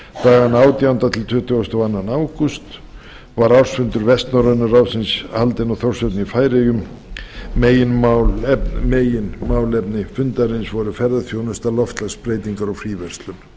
dagana átjánda til tuttugasta og önnur ágúst tvö þúsund og sex var ársfundur vestnorræna ráðsins haldinn í þórshöfn í færeyjum meginmálefni fundarins voru ferðaþjónusta loftslagsbreytingar og fríverslun